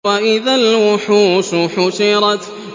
وَإِذَا الْوُحُوشُ حُشِرَتْ